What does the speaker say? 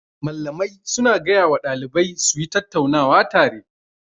Mallamai su na gaya wa ɗalibai su yi tattaunawa tare